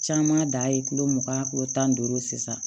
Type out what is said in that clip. Caman da ye kulo mugan kilo tan ni duuru sisan